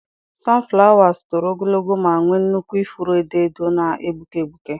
sunflowers toro ogologo ma nwee nnukwu ifuru edo edo na-egbuke egbuke.